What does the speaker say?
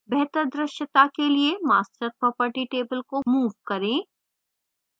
बेहतर द्रश्यता के लिए master property table को move करें